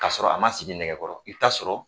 K'a sɔrɔ a ma sigi nɛgɛkɔrɔ, i bi ta sɔrɔ